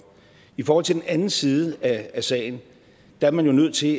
i forhold til den anden side af sagen er man jo nødt til